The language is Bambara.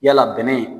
Yala bɛnɛ